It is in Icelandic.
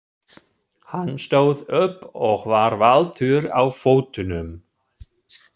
Hann stóð upp og var valtur á fótunum.